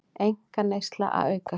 Einkaneysla að aukast